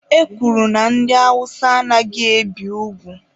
E kwuru na ndị Awụsa anaghị ebi ugwu.